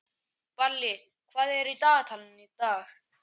Balli, hvað er í dagatalinu í dag?